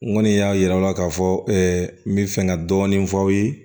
N kɔni y'a yira aw la k'a fɔ n bɛ fɛ ka dɔɔni fɔ aw ye